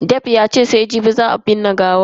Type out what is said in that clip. Ayo yace sai jibi za a binne gawan mamacin.